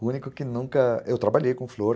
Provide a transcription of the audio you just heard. O único que nunca... Eu trabalhei com flor.